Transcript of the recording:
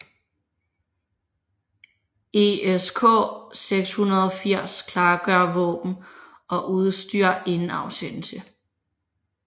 ESK 680 klargør våben og udstyr inden afsendelse